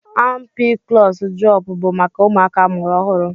Ampiklọs drọp bụ maka ụmụaka amụrụ ọhụrụ.